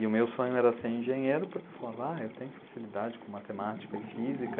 E o meu sonho era ser engenheiro, porque eu falava, ah, eu tenho facilidade com matemática e física.